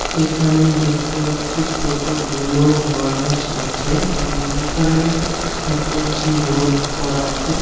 এখানে দেখতে পাচ্ছি কতগুলো মানুষ আছে ওম ওম এখানে দেখতে পাচ্ছি রোড করা আছে।